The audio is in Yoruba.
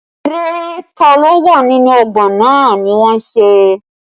Eré ta lo wà nínú ọgbà náà ni wọ́n ń ṣe